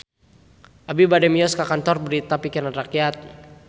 Abi bade mios ka Kantor Berita Pikiran Rakyat